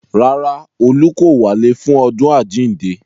Rárá, olú kò wálé fún ọdún àjíǹde